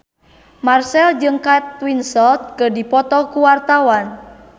Marchell jeung Kate Winslet keur dipoto ku wartawan